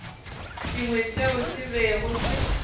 sengwe seo se bego se